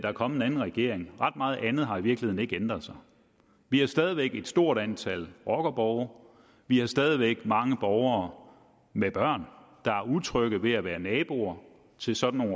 er kommet en anden regering ret meget andet har i virkeligheden ikke ændret sig vi har stadig væk et stort antal rockerborge vi har stadig væk mange borgere med børn der er utrygge ved at være naboer til sådan